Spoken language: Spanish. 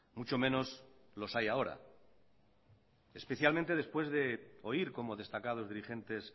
mucho menos los hay ahora especialmente después de oír como destacados dirigentes